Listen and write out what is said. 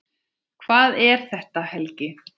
Hvað er þetta, Helgi?